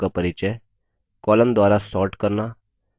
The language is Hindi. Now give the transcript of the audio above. columns द्वारा sorting करना